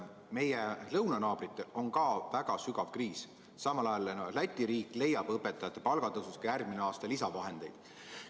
Ka meie lõunanaabritel on väga sügav kriis, samal ajal Läti riik leiab õpetajate palga tõusuks järgmisel aastal lisavahendeid.